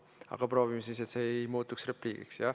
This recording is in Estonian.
Aga proovime siis nii, et see ei muutuks repliigiks.